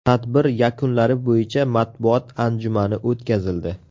Tadbir yakunlari bo‘yicha matbuot anjumani o‘tkazildi.